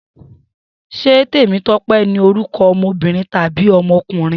Se Temitope ni oruko omobirin tabi omokunrin?